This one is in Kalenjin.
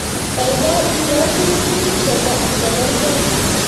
Kaikai ikol minutik che kargei